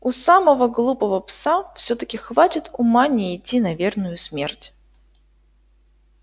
у самого глупого пса всё-таки хватит ума не идти на верную смерть